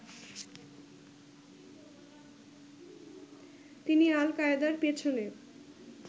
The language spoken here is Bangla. তিনি আল-কায়েদার পেছনে